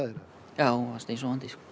já hún var steinsofandi